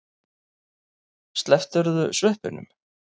Slepptirðu sveppunum?